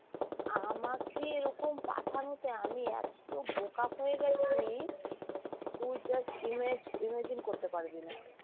আমাকে এরকম পাঠানোতে আমি এত্ত বোকা হয়ে গেছি তুই just image~ imagine করতে পারবি না